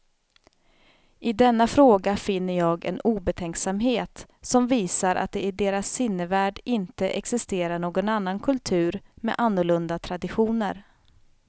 I denna fråga finner jag en obetänksamhet som visar att det i deras sinnevärld inte existerar någon annan kultur med annorlunda traditioner.